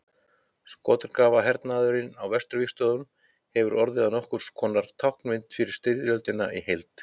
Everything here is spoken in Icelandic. skotgrafahernaðurinn á vesturvígstöðvunum hefur orðið að nokkurs konar táknmynd fyrir styrjöldina í heild